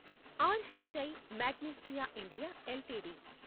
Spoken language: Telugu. are H I Magnesita India LTD